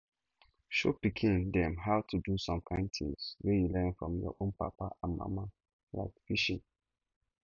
show pikin dem how to do some kind things wey you learn from your own papa and mama like fishing